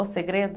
O segredo?